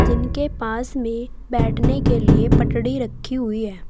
जिनके पास में बैठने के लिए पटडी रखी हुई है।